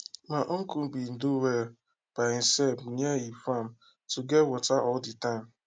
my uncle bin do well by e self near e farm to get water all de time